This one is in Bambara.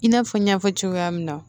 I n'a fɔ n y'a fɔ cogoya min na